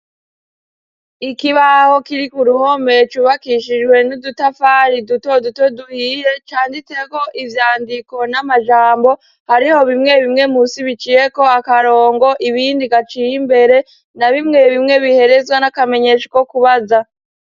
Ikibaho kiri ku ruhome cubakishijwe n'udutafari duto duto duhiye, canditseko ivyandiko n'amajambo, hariho bimwe bimwe munsi biciyeko akarongo, ibindi gaciye imbere, na bimwe bimwe biherezwa n'akamenyesha ko kubaza.